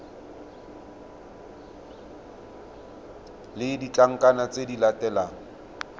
le ditlankana tse di latelang